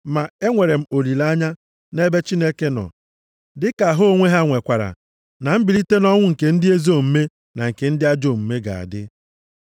Ma enwere m olileanya nʼebe Chineke nọ dịka ha onwe ha nwekwara, na mbilite nʼọnwụ nke ndị ezi omume na nke ndị ajọ omume ga-adị.